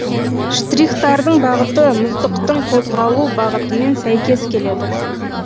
штрихтардың бағыты мұздықтың қозғалу бағытымен сөйкес келеді